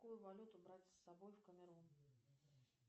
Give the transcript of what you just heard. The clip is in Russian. какую валюту брать с собой в камерун